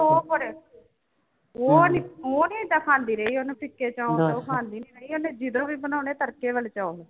ਉਹ ਨੀ ਉਹ ਨੀ ਏਦਾਂ ਖਾਂਦੀ ਰਹੀ ਉਹਨੇ ਫ਼ਿਕੇ ਚੋਲ ਉਹ ਖਾਂਦੀ ਨੀ ਰਹੀ, ਉਹਨੇ ਜਦੋਂ ਵੀ ਬਣਾਉਣੇ ਤੜਕੇ ਵਾਲੇ ਚੋਲ।